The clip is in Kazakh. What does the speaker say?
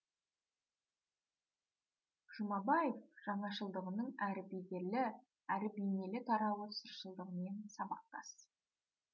жұмабаев жаңашылдығының әрі бедерлі әрі бейнелі тарауы сыршылдығымен сабақтас